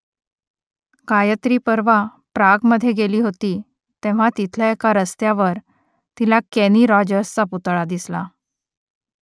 गायत्री परवा प्रागमधे गेली होती तेव्हा तिथल्या एका रस्त्यावर तिला केनी रॉजर्सचा पुतळा दिसला